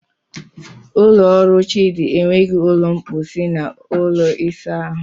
Ụlọ ọrụ Chidi enweghị ụlọ mposi na ụlọ ịsa ahụ